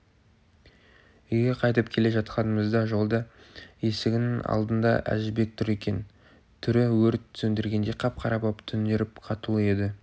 үйге қайтып келе жатқанымызда жолда есігінің алдындаәжібек тұр екен түрі өрт сөндіргендей қап-қара боп түнеріп қатулы еді